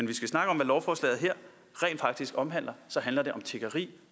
vi skal snakke om hvad lovforslaget her rent faktisk omhandler så handler det om tiggeri